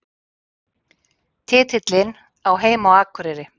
Titillinn á heima á Akureyri